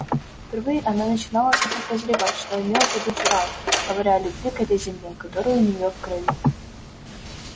впервые она начинала смутно прозревать что имел в виду джералд говоря о любви к этой земле которая у неё в крови